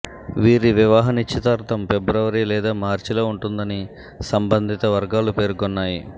వీరి వివాహ నిశ్చితార్థం ఫిబ్రవరి లేదా మార్చిలో ఉంటుందని సంబంధిత వర్గాలు పేర్కొన్నాయి